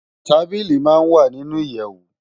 Tábìlí má n wá ninú iyèwó